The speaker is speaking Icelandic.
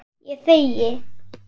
Ég þegi.